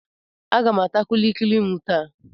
Aga m ata kulikuli m taa.